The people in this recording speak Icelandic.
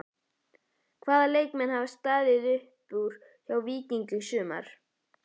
Hvaða leikmenn hafa staðið upp úr hjá Víkingi í sumar?